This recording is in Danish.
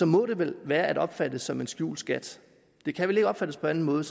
må det vel være at opfatte som en skjult skat det kan vel ikke opfattes på anden måde